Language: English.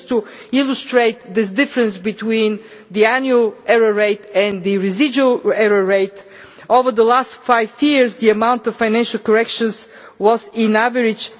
Just to illustrate this difference between the annual error rate and the residual error rate over the last five years the amount of financial corrections was on average